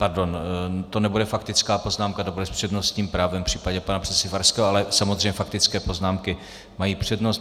Pardon, to nebude faktická poznámka, to bude s přednostním právem v případě pana předsedy Farského, ale samozřejmě faktické poznámky mají přednost.